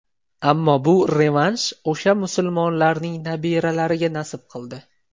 Ammo bu revansh o‘sha musulmonlarning nabiralariga nasib qildi.